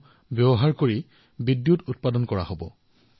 এইসমূহ ইফালেসিফালে দলিওৱা নহব